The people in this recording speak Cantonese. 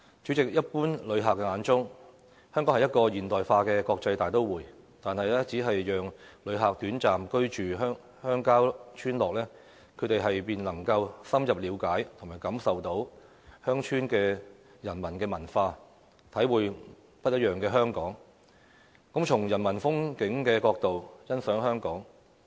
主席，一般旅客眼中，香港是一個現代化的國際大都會，但只要讓旅客短暫居住鄉郊村落，他們便能夠深入了解和感受鄉村的人文文化，體會不一樣的香港，從人文風景角度欣賞香港。